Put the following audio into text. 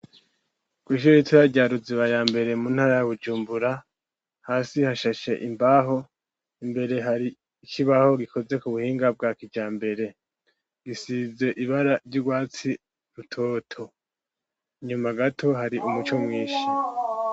Kw'ishure ritoya rya Ruziba yambere muntara ya Bujumbura, hasi hashashe imbaho, imbere hari ikibaho gikozwe kubuhinga bwa kijambere gisize ibara ry'ugwatsi rutoto, inyuma gato hari umuco mwinshi